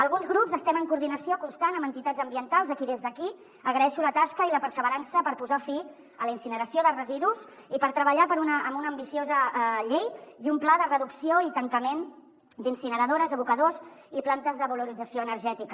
alguns grups estem en coordinació constant amb entitats ambientals a qui des d’aquí agraeixo la tasca i la perseverança per posar fi a la incineració de residus i per treballar en una ambiciosa llei i un pla de reducció i tancament d’incineradores abocadors i plantes de valorització energètica